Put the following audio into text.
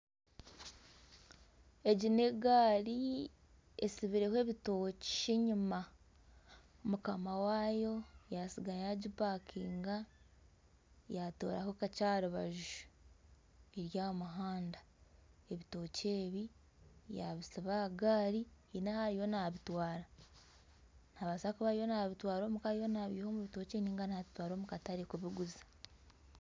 Egi n'egaari etsibireho ebitookye enyima, mukama waayo yaasiga yagipakinga yatooraho kakye aha rubaju. Eri aha muhanda. Ebitookye ebi yaabisiba aha gaari haine ahu ariyo naabitwara. Nabaasa kuba ariyo nabitwara omuka nibiiha omu rutookye nari nabitwara omu katare kubiguza